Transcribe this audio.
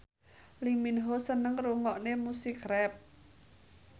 Lee Min Ho seneng ngrungokne musik rap